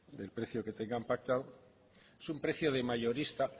del precio que tengan pactado es un precio de mayorista